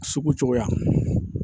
Sugu cogoya